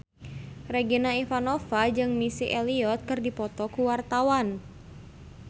Regina Ivanova jeung Missy Elliott keur dipoto ku wartawan